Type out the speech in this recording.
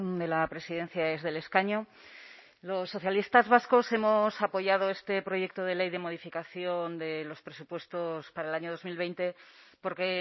de la presidencia desde el escaño los socialistas vascos hemos apoyado este proyecto de ley de modificación de los presupuestos para el año dos mil veinte porque